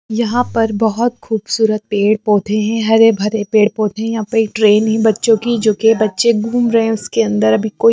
यहां पर बहुत खूबसूरत पेड़-पौधे हैं हरे-भरे पेड़-पौधे हैं यहां पे एक ट्रेन है बच्चों की जो कि बच्चे घूम रहे हैं उसके अंदर अभी--